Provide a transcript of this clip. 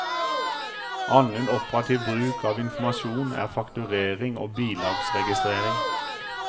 Annen operativ bruk av informasjon er fakturering og bilagsregistrering.